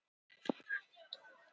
Fundarefni: Brauðbiti og rannveig.